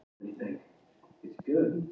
Reykjavík, Heimskringla.